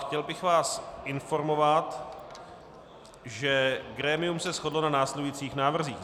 Chtěl bych vás informovat, že grémium se shodlo na následujících návrzích: